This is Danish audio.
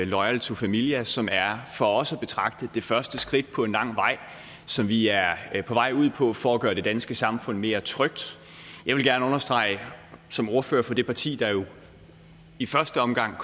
loyal to familia som for os at betragte det første skridt på en lang vej som vi er på vej ud på for at gøre det danske samfund mere trygt jeg vil gerne understrege som ordfører for det parti der jo i første omgang